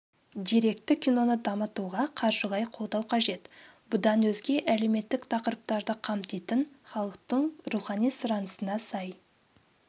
деректі киноны дамытуға қаржылай қолдау қажет бұдан өзге әлеуметтік тақырыптарды қамтитын халықтың рухани сұранысына сай